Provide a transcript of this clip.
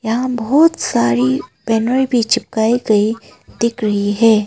यहां बहुत सारी बैनरे भी चिपकाई गई दिख रही है।